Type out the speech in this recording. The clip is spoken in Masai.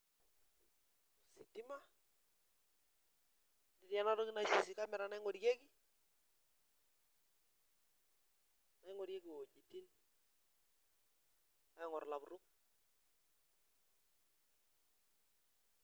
Ositima ,netii enatoki oshi naji kamera naingorie wejitin aingor lapurok.